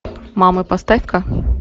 мамы поставь ка